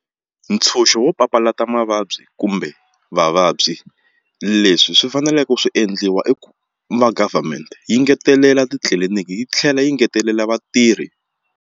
Ntshunxo wo papalata mavabyi kumbe vavabyi leswi swi faneleke ku swi endliwa i ku va government yi ngetelela titliliniki yi tlhela yi ngetelela vatirhi.